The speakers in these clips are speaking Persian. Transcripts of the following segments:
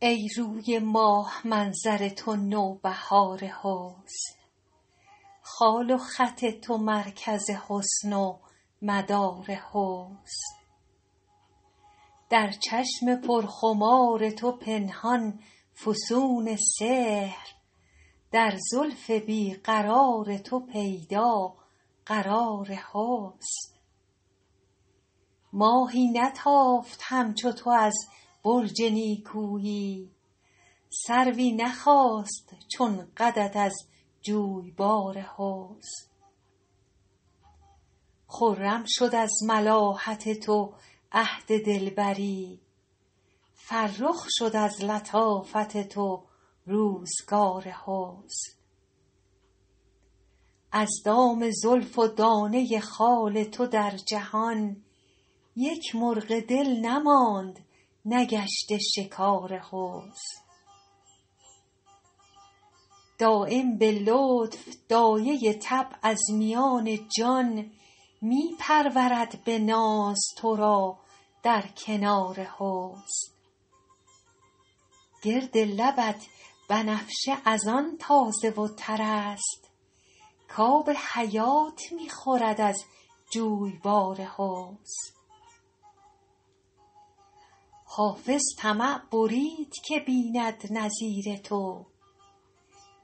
ای روی ماه منظر تو نوبهار حسن خال و خط تو مرکز حسن و مدار حسن در چشم پرخمار تو پنهان فسون سحر در زلف بی قرار تو پیدا قرار حسن ماهی نتافت همچو تو از برج نیکویی سروی نخاست چون قدت از جویبار حسن خرم شد از ملاحت تو عهد دلبری فرخ شد از لطافت تو روزگار حسن از دام زلف و دانه خال تو در جهان یک مرغ دل نماند نگشته شکار حسن دایم به لطف دایه طبع از میان جان می پرورد به ناز تو را در کنار حسن گرد لبت بنفشه از آن تازه و تر است کآب حیات می خورد از جویبار حسن حافظ طمع برید که بیند نظیر تو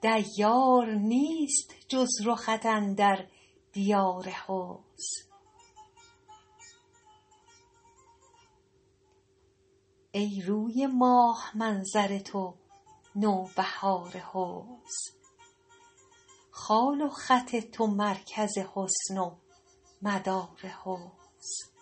دیار نیست جز رخت اندر دیار حسن